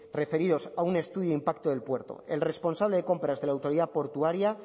referidos a un estudio de impacto del puerto el responsable de compras de la autoridad portuaria